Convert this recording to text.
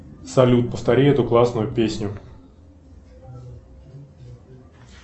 салют повтори эту классную песню